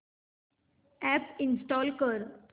app install कर